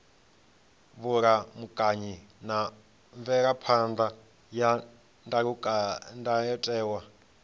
vhulamukanyi na mvelaphan ḓa ya ndayotewa